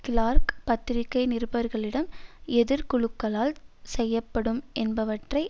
Clark பத்திரிகை நிருபர்களிடம் எதிர் குழுக்களால் செய்யப்படும் என்பவற்றை